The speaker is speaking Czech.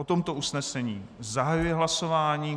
O tomto usnesení zahajuji hlasování.